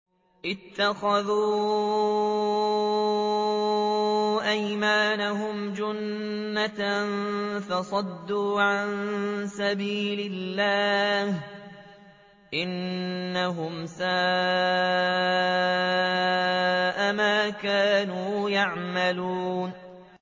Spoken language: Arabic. اتَّخَذُوا أَيْمَانَهُمْ جُنَّةً فَصَدُّوا عَن سَبِيلِ اللَّهِ ۚ إِنَّهُمْ سَاءَ مَا كَانُوا يَعْمَلُونَ